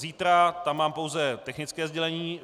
Zítra tam mám pouze technické sdělení.